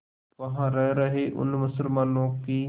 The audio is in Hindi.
वहां रह रहे उन मुसलमानों की